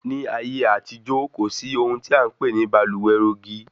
Ní ayé àtijó, kò sí ohun tí a npè ní baluwe rogi